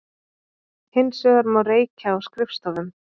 Hins vegar má reykja á skrifstofum